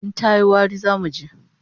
In tayi wari, zamu ji